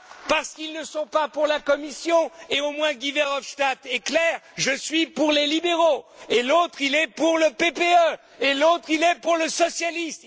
Parce qu'ils ne sont pas pour la Commission et au moins Guy Verhofstadt est clair je suis pour les libéraux, et l'autre est pour le PPE, et l'autre est pour les socialistes...